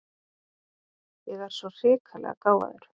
Ég er svo hrikalega gáfaður.